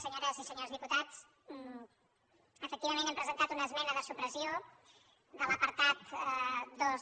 senyores i senyors diputats efectivament hem presentat una esmena de supressió de l’apartat dos